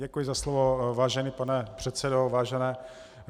Děkuji za slovo, vážený pane předsedo.